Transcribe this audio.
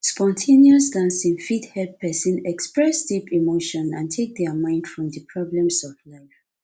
spon ten ous dancing fit help person express deep emotion and take their mind from di problems of life